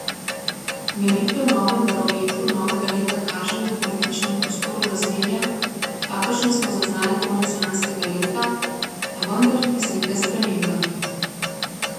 Meritve v novem Barometru novega leta kažejo v političnem prostoru razmerja, kakršna smo zaznali konec lanskega leta, a vendar tudi z nekaj spremembami.